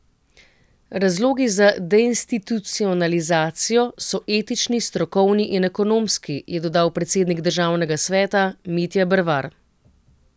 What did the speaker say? Razlogi za deinstitucionalizacijo so etični, strokovni in ekonomski, je dodal predsednik državnega sveta Mitja Bervar.